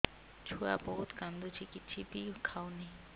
ଛୁଆ ବହୁତ୍ କାନ୍ଦୁଚି କିଛିବି ଖାଉନି